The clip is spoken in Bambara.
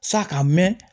Sa ka mɛn